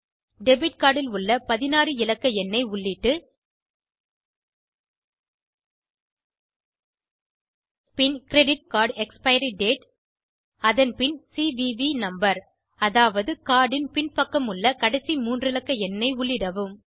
debit card ல் உள்ள 16 இலக்க எண்ணை உள்ளிட்டுப் பின் கிரெடிட் கார்ட் எக்ஸ்பைரி dateஅதன் பின் சிவிவி நம்பர் அதாவது கார்ட் இன் பின் பக்கமுள்ள கடைசி மூன்றிலக்க எண்ணை உள்ளிடவும்